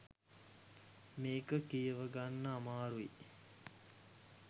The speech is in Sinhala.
මේක කියවගන්න අමාරුයි.